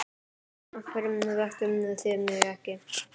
Af hverju vöktuð þið mig ekki?